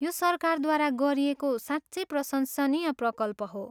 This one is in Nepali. यो सरकारद्वारा गरिएको साँच्चै प्रशंसनीय प्रकल्प हो।